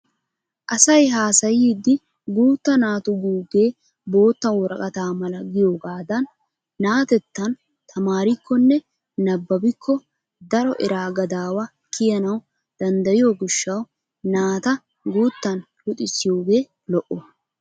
Asay haasayiidi guutta naatu guugee bootta woraqata mala giyogaadan na'atettan tamaarikkonne nabbabikko daro eraa gadaawa kiyanawu dandayiyo gishshawu naata guuttan luxissiyoogee lo'o.